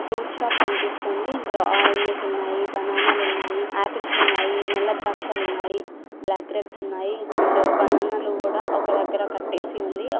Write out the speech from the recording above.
Fruit shop కనిపిస్తుంది. ఇందులో oranges ఉన్నాయి. బనానాలు ఉన్నాయి. ఆపిల్స్ ఉన్నాయి. నల్ల ద్రాక్షలు ఉన్నాయి. బ్లాక్బ్రెడ్స్ ఉన్నాయి. అండ్ బనానాలు కూడా ఒక దగ్గర కట్టేసి ఉంది.